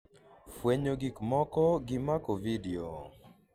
fwenyo gik moko gi mako vidio